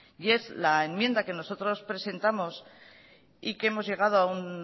y es la enmienda que nosotros presentamos y que hemos llegado a un